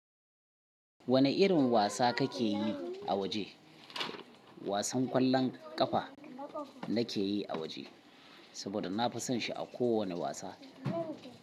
Wane irin wasa kake yi a waje? Wasan ƙwallon ƙafa nake yi a waje saboda na fi son shi a kowane wasa.